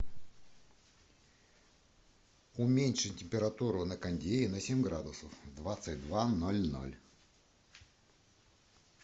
уменьшить температуру на кондее на семь градусов в двадцать два ноль ноль